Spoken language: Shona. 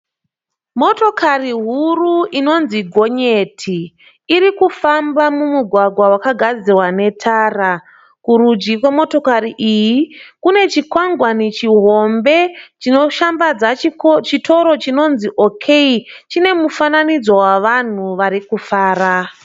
Motokari huru inonzi gonyeti. Irikufamba mumugwagwa wakagadzirwa netara. Kurudyi kwemotokari iyi kune chikwangwani chihombe chinoshambadza chitoro chinonzi OK. Chine mufananidzo vavanhu varikufara.